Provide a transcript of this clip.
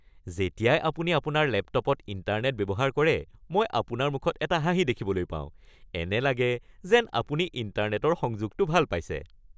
যেতিয়াই আপুনি আপোনাৰ লেপটপত ইণ্টাৰনেট ব্যৱহাৰ কৰে মই আপোনাৰ মুখত এটা হাঁহি দেখিবলৈ পাওঁ। এনে লাগে যেন আপুনি ইণ্টাৰনেটৰ সংযোগটো ভাল পাইছে!